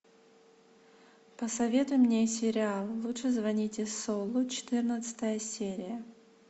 посоветуй мне сериал лучше звоните солу четырнадцатая серия